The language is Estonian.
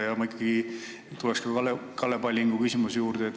Ja ma ikkagi tulen ka Kalle Pallingu küsimuse juurde.